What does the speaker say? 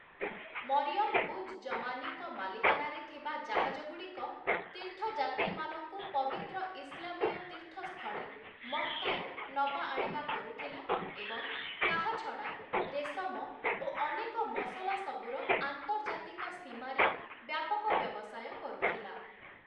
ମରିୟମ ଉଜ୍ ଜମାନୀଙ୍କ ମାଲିକାନାରେ ଥିବା ଜାହାଜଗୁଡ଼ିକ ତୀର୍ଥଯାତ୍ରୀମାନଙ୍କୁ ପବିତ୍ର ଇସଲାମୀୟ ତୀର୍ଥସ୍ଥଳୀ ମକ୍କାରୁ ନବା ଆଣିବା କରୁଥିଲା ଏବଂ ତାହା ଛଡା ରେଶମ ଓ ଅନେକ ମସଲା ସବୁର ଆନ୍ତର୍ଜାତିକ ସୀମାରେ ବ୍ୟାପକ ବ୍ୟବସାୟ କରୁଥିଲା ।